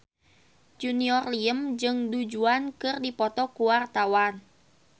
Junior Liem jeung Du Juan keur dipoto ku wartawan